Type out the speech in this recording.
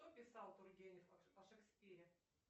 что писал тургенев о шекспире